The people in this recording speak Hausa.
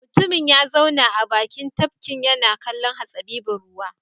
Mutumin ya zauna a bakin tafkin yana kallon hatsabibin ruwan.